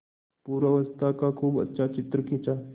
पूर्वावस्था का खूब अच्छा चित्र खींचा